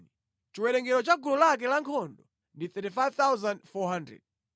Chiwerengero cha gulu lake lankhondo ndi 35,400.